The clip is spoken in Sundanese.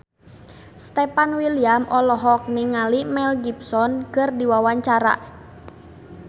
Stefan William olohok ningali Mel Gibson keur diwawancara